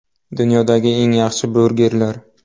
Dunyodagi eng yaxshi burgerlar .